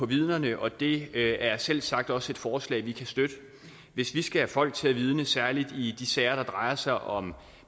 vidnerne og det er selvsagt også et forslag vi kan støtte hvis vi skal have folk til at vidne særlig i de sager der drejer sig om